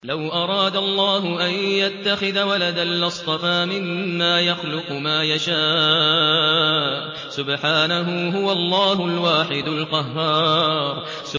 لَّوْ أَرَادَ اللَّهُ أَن يَتَّخِذَ وَلَدًا لَّاصْطَفَىٰ مِمَّا يَخْلُقُ مَا يَشَاءُ ۚ سُبْحَانَهُ ۖ هُوَ اللَّهُ الْوَاحِدُ الْقَهَّارُ